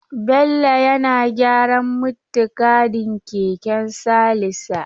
Bello yana gyaran muttigadin keken Salisa.